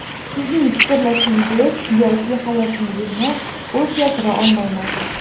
Sizning fikrlashingiz yoki hayotingizni o‘zgartira olmayman.